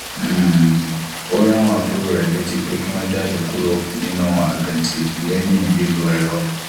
um ó rán àwọn àbúrò rẹ létí pé kí wón jáde kúrò nínú àkàntì lẹyìn lílo ẹrọ